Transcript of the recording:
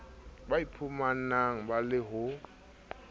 ba iphumanang ba le ho